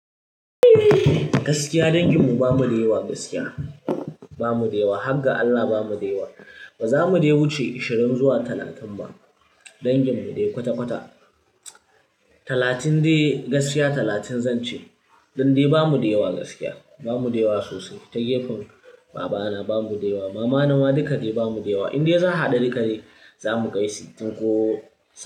Gaskiya danginmu bamu da yawa gaskiya, bamu da yawa. Har ga Allah ba mu da yawa. Ba za mu dai wuce ashirin zuwa talatin ba. Danginmu dya kwata-kwata. Talatin dai gaskiya talatin zan ce. Don dai ba mu da yawa gaskiya, ba mu da yawa sosai. Ta gefen babana ba mu da yawa, mama na ma duka dai ba mu da yawa. In dai za a haɗa duka dai, za mu kai sittin ko.